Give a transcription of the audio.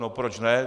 No proč ne?